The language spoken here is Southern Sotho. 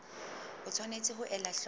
o tshwanetse ho ela hloko